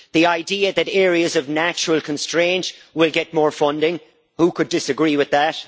The idea that areas of natural constraint will get more funding who could disagree with that?